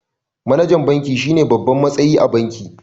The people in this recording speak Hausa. MAnajan banki shine babban matsayi a banki